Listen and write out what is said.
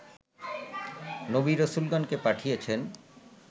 নবী রাসূলগণকে পাঠিয়েছেন